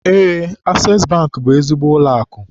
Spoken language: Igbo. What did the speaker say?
Eé, Asees Bankị bụ ezigbo ụlọakụ.